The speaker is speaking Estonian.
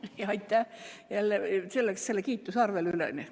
Vabandust, et läks mõni minut üle!